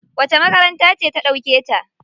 Wace makaranta ce ta ɗauke ta?